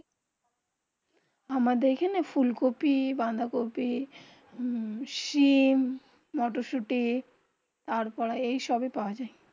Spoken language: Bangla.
আমাদের এখানে ফোলকপি বাঁধাকপি সিম মটরশুটি তার পর যেই সব হয় পৰা যায়